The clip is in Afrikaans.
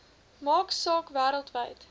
maak saak wêreldwyd